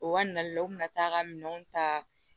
U ka nali la u kun bɛ na taa ka minɛnw ta